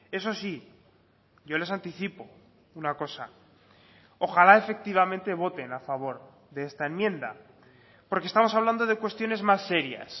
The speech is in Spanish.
eso sí yo les anticipo una cosa ojalá efectivamente voten a favor de esta enmienda porque estamos hablando de cuestiones más serias